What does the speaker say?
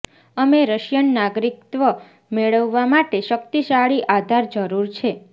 અમે રશિયન નાગરિકત્વ મેળવવા માટે શક્તિશાળી આધાર જરૂર છે